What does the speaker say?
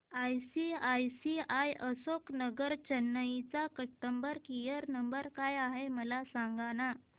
ICICI Ashok Nagar Chennai चा customer care number काय आहे मला सांगाना